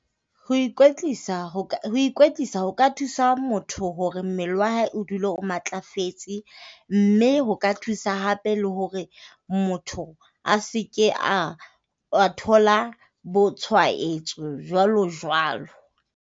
Ho ikwetlisa ho ka, ho ikwetlisa ho ka thusa motho hore mmele wa hae o dule o matlafetse mme ho ka thusa hape le hore motho a se ke a a thola bo tshwaetso jwalo jwalo.